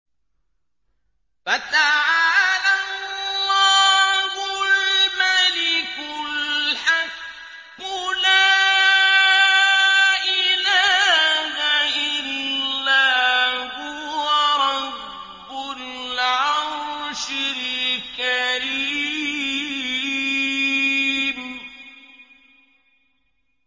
فَتَعَالَى اللَّهُ الْمَلِكُ الْحَقُّ ۖ لَا إِلَٰهَ إِلَّا هُوَ رَبُّ الْعَرْشِ الْكَرِيمِ